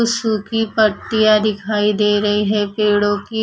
सूखी पत्तियां दिखाई दे रही है पेड़ों की।